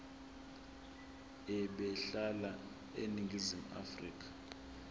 ebehlala eningizimu afrika